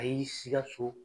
ayi Sigaso.